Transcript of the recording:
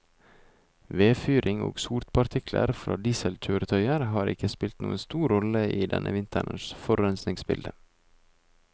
Vedfyring og sotpartikler fra dieselkjøretøyer har ikke spilt noen stor rolle i denne vinterens forurensningsbilde.